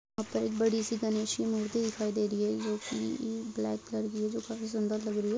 यहाँ पर एक बड़ी सी गणेश की मूर्ति दिखाई दे रही है जो कि ब्लैक कलर की है जो काफी सुंदर लग रही है।